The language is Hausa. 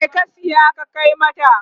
me ka saya ka Kai mata?